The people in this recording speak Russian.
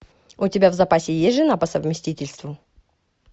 у тебя в запасе есть жена по совместительству